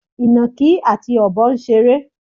Ìnàkí àti Ọ̀bọ ń ṣeré.